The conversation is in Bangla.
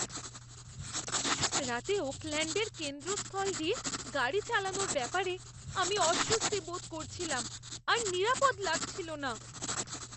রাতে ওকল্যাণ্ডের কেন্দ্রস্থল দিয়ে গাড়ি চালানোর ব্যাপারে আমি অস্বস্তি বোধ করছিলাম আর নিরাপদ লাগছিল না।